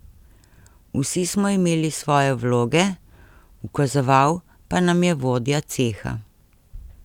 Vsi smo imeli svoje vloge, ukazoval pa nam je vodja ceha.